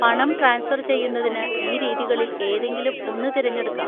പണം ട്രാൻസ്ഫർ ചെയ്യുന്നതിന് ഈ രീതികളിൽ ഏതെങ്കിലും ഒന്ന് തിരഞ്ഞെടുക്കാം.